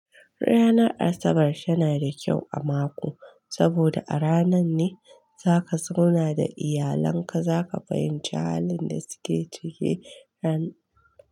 Ranar Asabar tana da kyau a mako, saboda a ranan ne zaka zauna da iyalan ka, zaka fahimci halin da suke ciki ran.